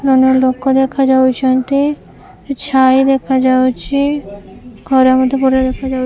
ଜଣେ ଜଣେ ଲୋକ ଦେଖାଯାଉଛନ୍ତି ଛାଇ ଦେଖାଯାଉଛି ଖରା ମଧ୍ୟ ପଡ଼ିଆରେ ଦେଖାଯାଉ